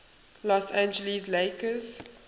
los angeles lakers